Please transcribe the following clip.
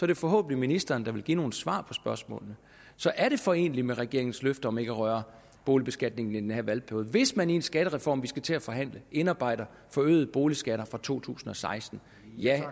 det forhåbentlig ministeren der vil give nogle svar på spørgsmålene så er det foreneligt med regeringens løfter om ikke at røre boligbeskatningen i den her valgperiode hvis man i den skattereform vi skal til at forhandle indarbejder forøgede boligskatter fra to tusind og seksten ja